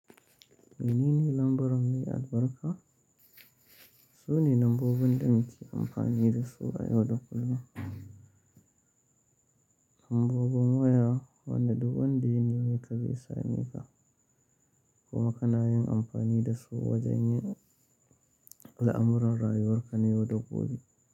Menene lambar mai albarka? Sune lambobin da muke amfani dasu a yau da kullum, Lambobin waya, wanda duk ya nemeka zai same ka, kuma ka na yin amfani dasu wajen yin al'amuran rayuwarka na yau da gobe.